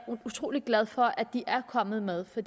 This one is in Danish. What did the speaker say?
utrolig glad for at de er kommet med for